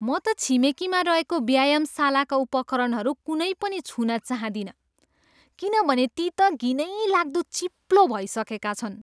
म त छिमेकीमा रहेको व्यायामशालाका उपकरणहरू कुनै पनि छुन चाहँदिनँ किनभने ती त घिनैलाग्दो चिप्लो भइसकेका छन्।